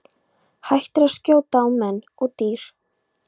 Hættir að skjóta á menn og dýr.